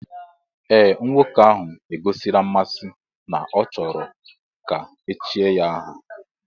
Ee nwoke ahụ egosila mmasị na ọ chọrọ ka echie ya aha